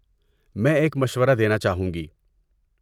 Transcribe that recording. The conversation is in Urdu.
میں ایک مشورہ دینا چاہوں گی۔